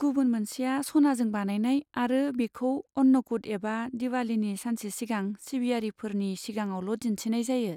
गुबुन मोनसेया सनाजों बानायनाय आरो बेखौ अन्नकुट एबा दिबालीनि सानसे सिगां सिबियारिफोरनि सिगाङावल' दिन्थिनाय जायो।